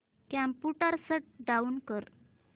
computer shut down कर